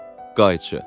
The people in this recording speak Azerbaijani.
Qayçı.